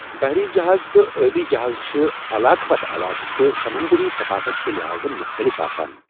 بحری جہاز تہٕ ٲبی جہاز چھِ علاقہٕ پتہٕ علاقہٕ تہٕ سَمنٛدری ثقافت کہ لحاظٕ مُختٔلف آسان۔